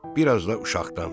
bir az da uşaqdan.